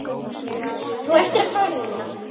Þú ættir að fara núna.